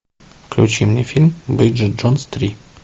включи мне фильм бриджит джонс три